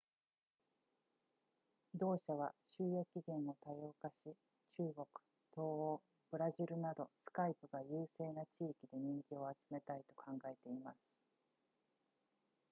同社は収益源を多様化し中国東欧ブラジルなど skype が優勢な地域で人気を集めたいと考えています